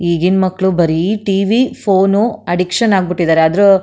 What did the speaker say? ಈಗಿನ ಮಕ್ಕಳು ಬರೀ ಟಿ_ವಿ ಫೋನ್ ಅಡ್ಡಿಕ್ಷನ್ ಆಗಿ ಬಿಟ್ಟಿದ್ದಾರೆ ಆದ್ರೂ --